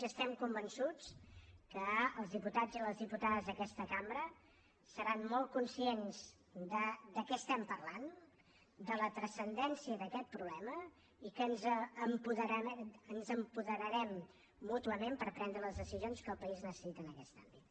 i estem convençuts que els diputats i les diputades d’aquesta cambra seran molt conscients de què estem parlant de la transcendència d’aquest problema i que ens apoderarem mútuament per prendre les decisions que el país necessita en aquest àmbit